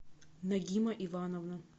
нагима ивановна